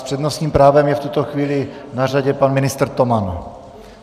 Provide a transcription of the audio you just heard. S přednostním právem je v tuto chvíli na řadě pan ministr Toman.